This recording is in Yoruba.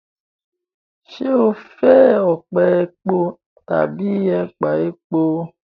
Ṣé o fẹ ọpẹ̀ èpọ̀ tábí èpà èpọ̀?